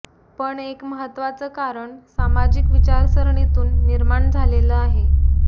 पण एक महत्त्वाचं कारण सामाजिक विचारसरणीतून निर्माण झालेलं आहे